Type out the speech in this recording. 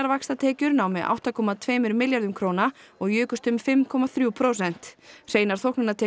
vaxtatekjur námu átta komma tveimur milljörðum króna og jukust um fimm komma þrjú prósent hreinar